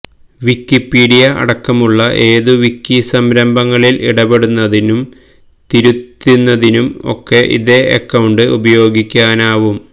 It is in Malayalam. വിക്കിപീഡിയ അടക്കമുള്ള ഏതു വിക്കിസംരംഭങ്ങളില് ഇടപെടുന്നതിനും തിരുത്തുന്നതിനും ഒക്കെ ഇതേ അക്കൌണ്ട് ഉപയോഗിക്കാനുമാവും